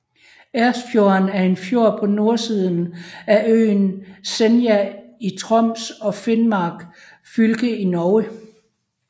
Ersfjorden er en fjord på nordsiden af øen Senja i Troms og Finnmark fylke i Norge